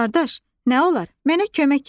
Qardaş, nə olar, mənə kömək elə.